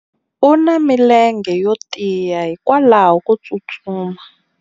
u na milenge yo tiya hikwalaho ko tsustuma